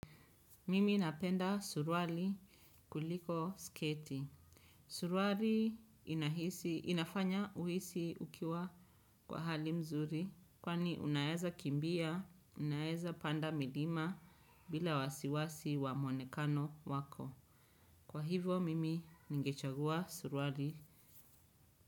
Mimi napenda suruali kuliko sketi. Suruali inafanya uhisi ukiwa kwa hali mzuri. Kwani unaeza kimbia, unaeza panda milima bila wasiwasi wa mwonekano wako. Kwa hivyo, mimi ningechagua suruali.